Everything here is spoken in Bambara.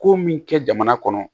Ko min kɛ jamana kɔnɔ